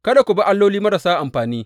Kada ku bi alloli marasa amfani.